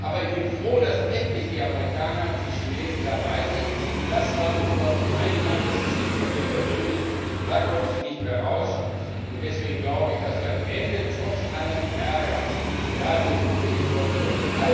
Aber ich bin froh, dass endlich die Amerikaner und Chinesen dabei sind, das war unser und ein von mir persönlich seit langem verfolgtes Ziel. Da kommen sie nicht mehr raus, und deswegen glaube ich, dass wir am Ende trotz allen Ärgers da sind wo wir hinkommen wollen.